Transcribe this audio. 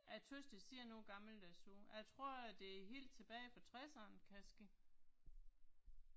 Jeg tøvs det ser noget gammeldags ud, jeg tror det er helt tilbage fra 60'erne kan ske